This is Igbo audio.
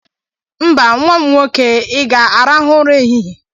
Mba nwa m nwoke, ị ga-arahu ura ehihie.